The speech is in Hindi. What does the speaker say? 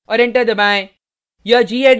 और enter दबाएँ